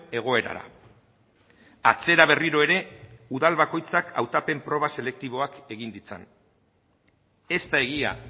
egoerara atzera berriro ere udal bakoitzak hautapen proba selektiboak egin ditzan ez da egia